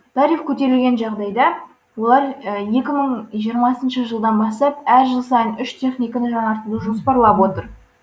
тариф көтерілген жағдайда олар екі мың жиырмасыншы жылдан бастап әр жыл сайын үш техниканы жаңартуды жоспарлап отыр